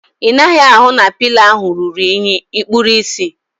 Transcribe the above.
Ị naghị ahụ na pịlo ahu ruru unyi? Ikpuru ịsị?